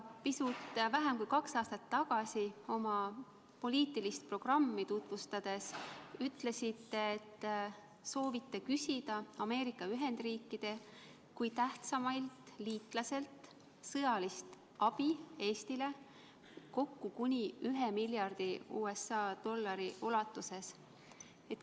Pisut vähem kui kaks aastat tagasi oma poliitilist programmi tutvustades te ütlesite, et soovite küsida Ameerika Ühendriikidelt kui tähtsaimalt liitlaselt Eestile sõjalist abi kokku kuni 1 miljardi USA dollari ulatuses.